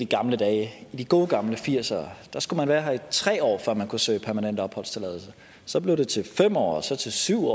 gamle dage i de gode gamle nitten firs ere skulle man være her i tre år før man kunne søge om permanent opholdstilladelse så blev det til fem år så til syv